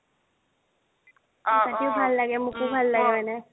মোৰ কাটিও ভাল লাগে মোকো ভাল লাগে মানে।